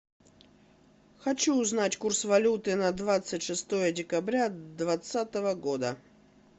хочу узнать курс валюты на двадцать шестое декабря двадцатого года